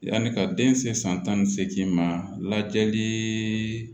Yanni ka den se san tan ni seegin ma lajɛli